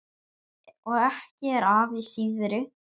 Og ekki er afi síðri.